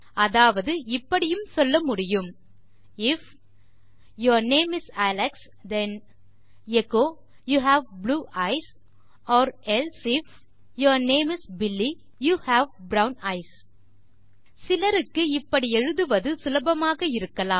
அதாவது இப்படியும் சொல்ல முடியும் if your name is Alex then echo you have blue eyes or else if your name is Billy you have brown eyes சிலருக்கு இப்படி எழுதுவது சுலபமாக இருக்கலாம்